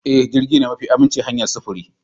Ee, jirgi shine mafi aminci hanyar sufuri.